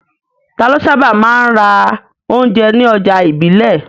Ta ló sábà máa ń ra oúnjẹ ní ọjà ìbílẹ̀?